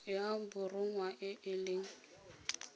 ya borongwa e e leng